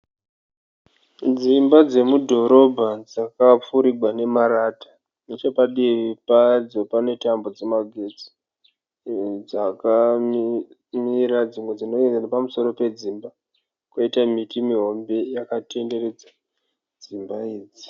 Dzimba dzemudhorobha dzakapfirigwa nemarata, nechepadivi padzo pane tambo dzemagetsi dzakamira dzimwe dzinoenda nepamusoro pedzimba, koita miti mihombe yakatenderedza dzimba idzi.